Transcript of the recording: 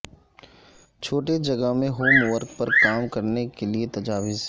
چھوٹے جگہ میں ہوم ورک پر کام کرنے کے لئے تجاویز